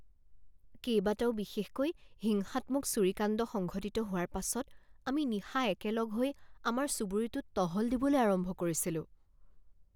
কেইবাটাও বিশেষকৈ হিংসাত্মক চুৰি কাণ্ড সংঘটিত হোৱাৰ পাছত আমি নিশা একেলগ হৈ আমাৰ চুবুৰীটোত টহল দিবলৈ আৰম্ভ কৰিছিলোঁ।